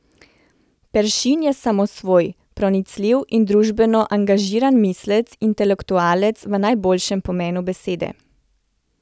Peršin je samosvoj, pronicljiv in družbeno angažiran mislec, intelektualec v najboljšem pomenu besede.